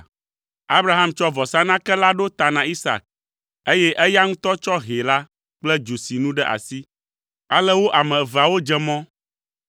Abraham tsɔ vɔsanake la ɖo ta na Isak, eye eya ŋutɔ tsɔ hɛ la kple dzosinu ɖe asi. Ale wo ame eveawo dze mɔ.